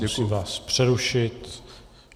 Musím vás přerušit.